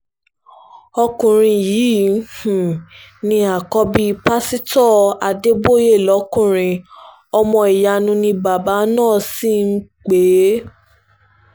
ọkùnrin yìí um ni àkọ́bí pásítọ̀ adébóyè lọ́kùnrin ọmọ ìyanu ni bàbá náà sì máa ń um pè é